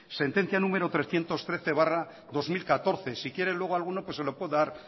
sentencia número trescientos trece barra dos mil catorce si quiere luego alguno se lo puedo dar